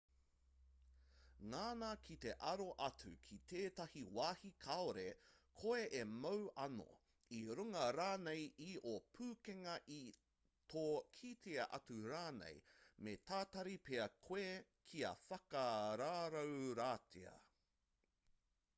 ngana ki te aro atu ki tētahi wāhi kāore koe e mau anō i runga rānei i ō pukenga i tō kitea atu rānei me tatari pea koe kia whakarauoratia